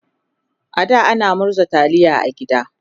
a da ana murza taliya a gida